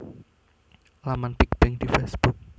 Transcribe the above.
Laman Big Bang di Facebook